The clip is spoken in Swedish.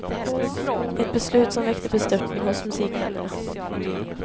Ett beslut som väckte bestörtning hos musikvännerna.